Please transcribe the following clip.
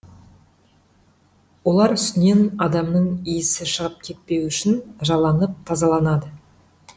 олар үстінен адамның исі шығып кетпеуі үшін жаланып тазаланады